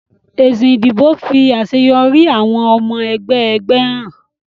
Èsì ìdìbò fi àṣeyọrí àwọn ọmọ ẹgbẹ́ ẹgbẹ́ hàn.